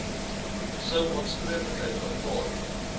sou aanspreeklikheid aanvaar